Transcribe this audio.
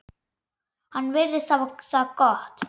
Hann virðist hafa það gott.